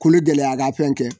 Kologɛlɛya ka fɛn kɛ.